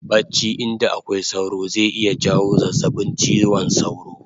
Bacci inda akwai sauro zai iya jawo zazzabin chiwon sauro